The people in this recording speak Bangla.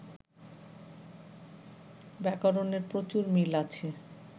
ব্যাকরণের প্রচুর মিল আছে